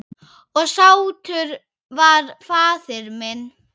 Og sáttur var faðir minn.